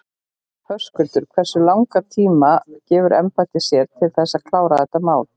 Höskuldur: Hversu langan tíma gefur embættið sér til þess að klára þetta mál?